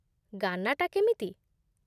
ଗାନା'ଟା କେମିତି?